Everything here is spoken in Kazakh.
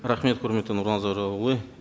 рахмет құрметті нұрлан зайроллаұлы